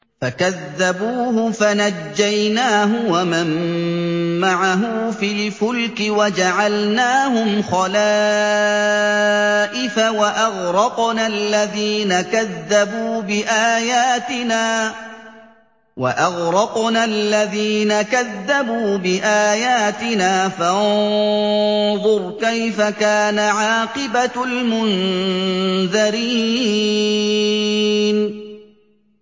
فَكَذَّبُوهُ فَنَجَّيْنَاهُ وَمَن مَّعَهُ فِي الْفُلْكِ وَجَعَلْنَاهُمْ خَلَائِفَ وَأَغْرَقْنَا الَّذِينَ كَذَّبُوا بِآيَاتِنَا ۖ فَانظُرْ كَيْفَ كَانَ عَاقِبَةُ الْمُنذَرِينَ